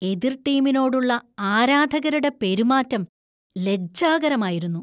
എതിർ ടീമിനോടുള്ള ആരാധകരുടെ പെരുമാറ്റം ലജ്ജാകരമായിരുന്നു.